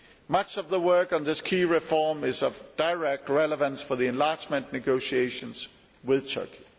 Much of the work on this key reform is of direct relevance for the enlargement negotiations with Turkey.